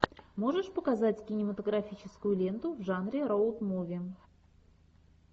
можешь показать кинематографическую ленту в жанре роуд муви